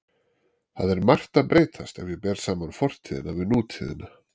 Það er margt að breytast ef ég ber saman fortíðina við nútíðina.